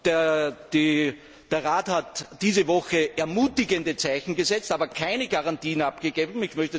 Der Rat hat diese Woche ermutigende Zeichen gesetzt, aber keine Garantien abgegeben.